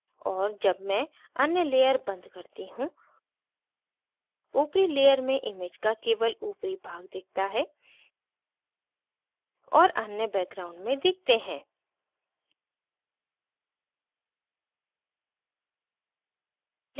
और जब मैं अन्य layer and करती हूँ upper layer में image का केवल upper भाग दिखता है और अन्य background में दिखते हैं